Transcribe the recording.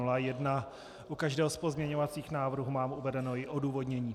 U každého z pozměňovacích návrhů mám uvedeno i odůvodnění.